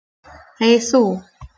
Hey þú.